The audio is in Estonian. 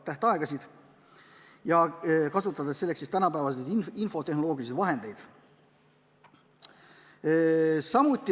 Selleks võiks kasutada tänapäevaseid infotehnoloogilisi vahendeid.